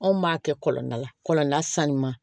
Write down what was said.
Anw b'a kɛ kɔlɔn na kɔlɔlɔ sanuman